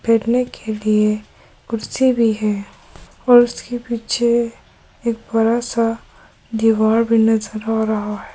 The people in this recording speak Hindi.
बैठने के लिए कुर्सी भी है और उसके पीछे एक बड़ा सा दीवार भी नजर आ रहा है।